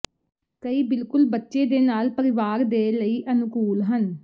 ਕਈ ਬਿਲਕੁਲ ਬੱਚੇ ਦੇ ਨਾਲ ਪਰਿਵਾਰ ਦੇ ਲਈ ਅਨੁਕੂਲ ਹਨ